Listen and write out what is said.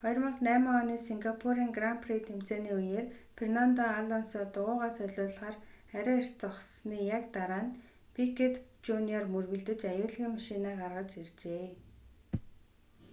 2008 оны сингапурын гран при тэмцээний үеэр фернандо алонсо дугуйгаа солиулахаар арай эрт зогссоны яг дараа нь пикёт жуниор мөргөлдөж аюулгүйн машинаа гаргаж иржээ